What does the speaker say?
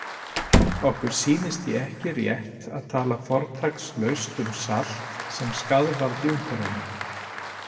Okkur sýnist því ekki rétt að tala fortakslaust um salt sem skaðvald í umhverfinu.